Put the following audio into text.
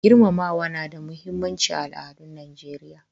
Girmamawa na da muhimmanci a al'adun Nijeriya.